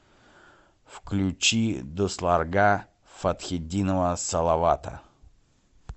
включи дусларга фатхетдинова салавата